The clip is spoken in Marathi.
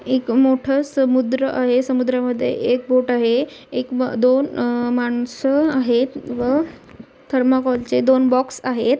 एक मोट्ठ समुद्र आहे समुद्रामध्ये एक बोट आहे एक अह दोन अह माणस आहे व थरमा कोल चे दोन बॉक्स आहेत.